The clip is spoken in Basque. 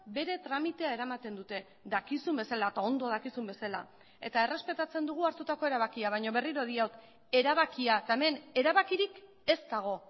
bere tramitea eramaten dute dakizun bezala eta ondo dakizun bezala eta errespetatzen dugu hartutako erabakia baina berriro diot erabakia eta hemen erabakirik ez dago